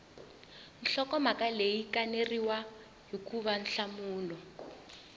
nhlokomhaka leyi kaneriwaka hikuva nhlamulo